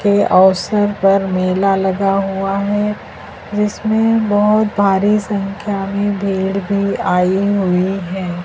ये अवसर पर मेला लगा हुआ है जिसमें बहुत भारी संख्या में भीड़ भी आयी हुई है।